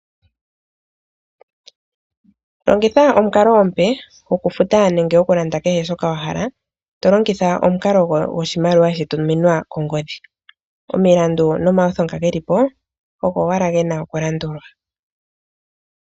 Longitha omukalo omupe goku futa nenge goku landa kehe shoka wa hala to longitha omukalo goshimaliwa sha tuminwa kongodhi . Omilandu noma iyutho ogo owala gena oku landulwa.